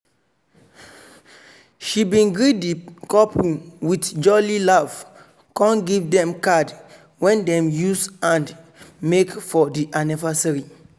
she bin greet di couple with jolly laf con give dem card wen dem use hand make for di annivasary.